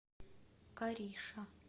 кариша